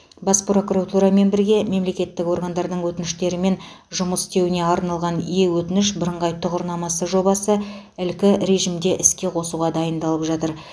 бас прокуратурамен бірге мемлекеттік органдардың өтініштермен жұмыс істеуіне арналған е өтініш бірыңғай тұғырнамасы жобасы ілкі режімде іске қосуға дайындалып жатыр